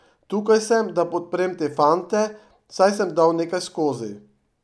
Tukaj sem, da podprem te fante, saj sem dal nekaj skozi.